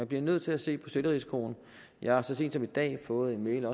bliver nødt til at se på selvrisikoen jeg har så sent som i dag fået en